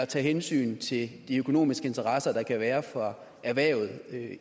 tage hensyn til de økonomiske interesser der kan være for erhvervet